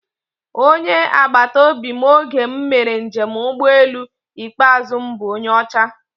Onye agbataobi m oge m mere njem ụgbọelu ikpeazụ m bụ onye ọcha